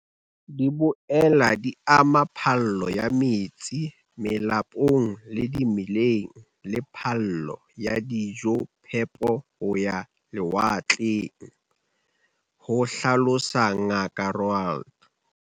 "Di boela di ama phallo ya metsi melapong le dimeleng le phallo ya dijophepo ho ya lewatleng," ho hlalosa Ngaka Roualt.